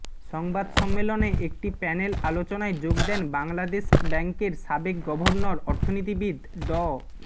সংবাদ সম্মেলনে একটি প্যানেল আলোচনায় যোগ দেন বাংলাদেশ ব্যাংকের সাবেক গভর্নর অর্থনীতিবিদ ড